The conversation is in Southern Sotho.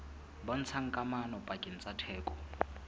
bontshang kamano pakeng tsa theko